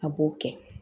A b'o kɛ